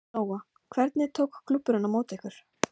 Lóa: Hvernig tók klúbburinn á móti ykkur?